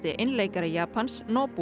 einleikari Japans